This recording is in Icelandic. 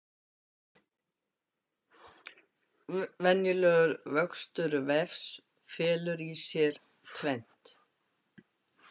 Venjulegur vöxtur vefs felur í sér tvennt.